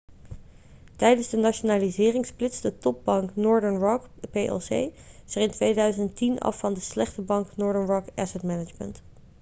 tijdens de nationalisering splitste topbank northern rock plc zich in 2010 af van de 'slechte bank' northern rock asset management